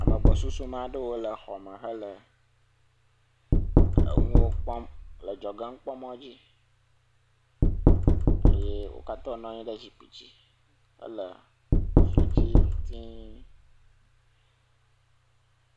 Ame gbɔsusume aɖewo le xɔme hele enuwo kpɔm le dzɔgenukpɔmɔ eye wo katã wonɔ anyi ɖe zikpi dzi hele fidzi tiiŋ.